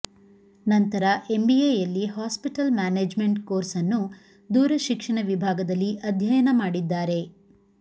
ನಂತರ ಎಂಬಿಎಯಲ್ಲಿ hospital management course ಅನ್ನು ದೂರ ಶಿಕ್ಷಣ ವಿಭಾಗದಲ್ಲಿ ಅಧ್ಯಯನ ಮಾಡಿದ್ದಾರೆ